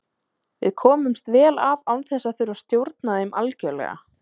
Við komumst vel af án þess að þurfa að stjórna þeim algjörlega.